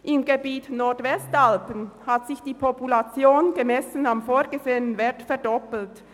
Im Gebiet der Nordwestalpen hat sich die Population gemessen am vorgesehenen Wert verdoppelt.